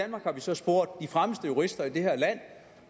har så spurgt de fremmeste jurister i det her land